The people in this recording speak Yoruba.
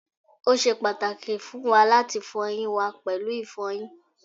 o ṣe pàtàkì fún wa láti fọ eyín wa pẹ̀lú ìfọyín